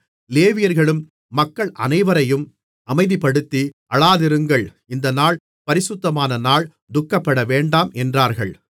லேவியர்களும் மக்கள் அனைவரையும் அமைதிப்படுத்தி அழாதிருங்கள் இந்த நாள் பரிசுத்தமான நாள் துக்கப்படவேண்டாம் என்றார்கள்